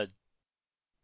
অংশগ্রহনের জন্য ধন্যবাদ